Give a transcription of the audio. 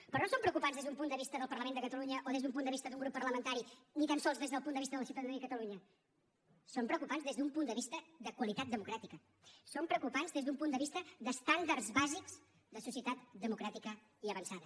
però no són preocupants des d’un punt de vista del parlament de catalunya o des d’un punt de vista d’un grup parlamentari ni tan sols des del punt de vista de la ciutadania de catalunya són preocupants des d’un punt de vista de qualitat democràtica són preocupants des d’un punt de vista d’estàndards bàsics de societat democràtica i avançada